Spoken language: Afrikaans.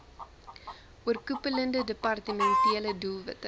oorkoepelende departementele doelwitte